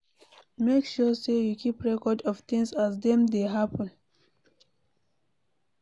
Make sure sey you keep record of things as dem dey happen